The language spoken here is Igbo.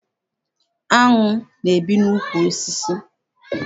Áṅụ na- ebi n'ukwu osisi.